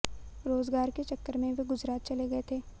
रोजगार के चक्कर में वे गुजरात चले गये थे